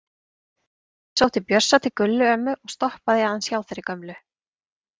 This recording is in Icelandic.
Ég sótti Bjössa til Gullu ömmu og stoppaði aðeins hjá þeirri gömlu.